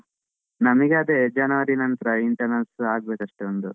ನಮಿಗೆ ಅದೇ ಜನವರಿ ನಂತರ internals ಆಗ್ಬೇಕು ಅಷ್ಟೇ ಒಂದು.